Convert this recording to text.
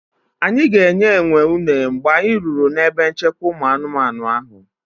Anyị ga-enye enwe uner mgbe anyị ruru ebe nchekwa ụmụ anụmanụ ahụ.